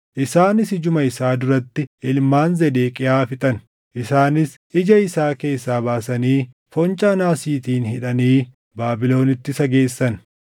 Isaanis ijuma isaa duratti ilmaan Zedeqiyaa fixan; isaanis ija isaa keessaa baasanii foncaa naasiitiin hidhanii Baabilonitti isa geessan.